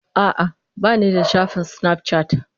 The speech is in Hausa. A'a, ba ni da shafin Snapchat